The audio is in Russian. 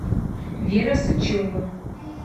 вера сычева